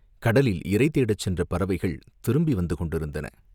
கடலில் இரை தேடச் சென்ற பறவைகள் திரும்பி வந்து கொண்டிருந்தன.